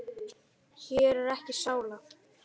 Hér er ekki sála.